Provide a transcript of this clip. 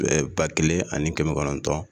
ba kelen ani kɛmɛ kɔnɔntɔn